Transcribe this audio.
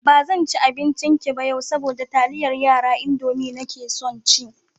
Ba zan ci abincinki ba yau, saboda taliyar yara (Indomie) nake son ci.